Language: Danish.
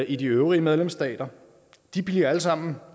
i de øvrige medlemsstater de bliver alle sammen